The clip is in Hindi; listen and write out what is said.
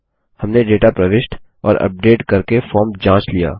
हमने डेटा प्रविष्ट और अपडेट करके फॉर्म जाँच लिया